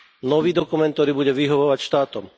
Nový dokument, ktorý bude vyhovovať štátom.